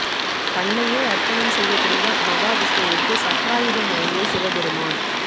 கண்ணையே அர்ப்பணம் செய்ய துணிந்த மகா விஷ்ணுவுக்கு சக்ராயுதம் வழங்கிய சிவபெருமான்